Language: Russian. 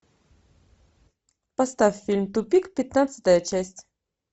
поставь фильм тупик пятнадцатая часть